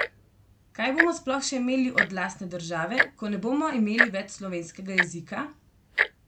Kaj bomo sploh še imeli od lastne države, ko ne bomo imeli več slovenskega jezika?